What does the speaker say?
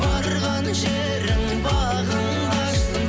барған жерің бағыңды ашсын